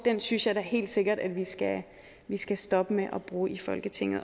synes jeg da helt sikkert at vi skal stoppe med at bruge i folketinget